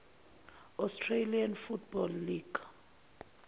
australian football league